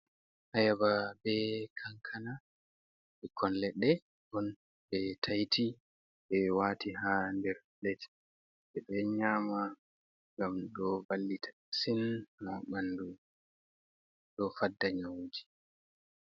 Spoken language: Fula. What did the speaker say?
Ayaba be kankana ɓikkon leɗɗe on be taiti ɓe waati haa nder pilet. Ɓedo nyama ngam ɗo vallita masin haa ɓandu, ɗo fadda nyawuji.